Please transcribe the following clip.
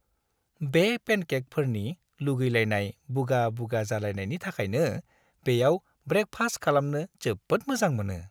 बे पेनकेकफोरनि लुगैलायनाय बुगा-बुगा जालायनायनि थाखायनो बेयाव ब्रेकफास्ट खालामनो जोबोद मोजां मोनो।